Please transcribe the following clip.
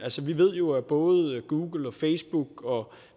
vi ved jo at både google og facebook og